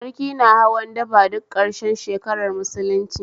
Sarki na hawan daba duk karshen shekarar musulunci